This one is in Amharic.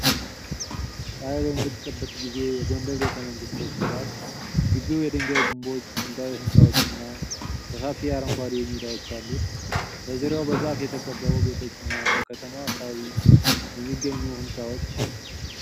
ፀሐይ በምትጠልቅበት ጊዜ፣ የጎንደር ቤተመንግስቶች ድባብ። ግቢው የድንጋይ ግንቦች፣ ጥንታዊ ሕንጻዎችና ሰፋፊ አረንጓዴ ሜዳዎች አሉት። በዙሪያው በዛፍ የተከበቡ ቤቶችና በከተማው አካባቢ የሚገኙ ሕንፃዎች